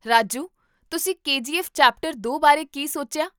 ਰਾਜੂ, ਤੁਸੀਂ ਕੇਜੀਐੱਫ਼ ਚੈਪਟਰ ਦੋ ਬਾਰੇ ਕੀ ਸੋਚਿਆ?